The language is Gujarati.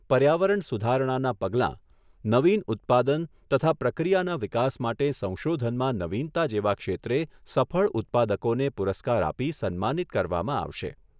પર્યાવરણ સુધારણાનાં પગલાં, નવીન ઉત્પાદન તથા પ્રક્રિયાના વિકાસ માટે સંશોધનમાં નવીનતા જેવા ક્ષેત્રે સફળ ઉત્પાદકોને પુરસ્કાર આપી સન્માનિત કરવામાં આવશે.